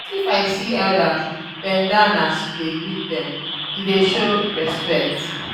if you see elders bend down as you dey greet dem e dey show respect.